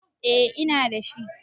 Eh ina dashi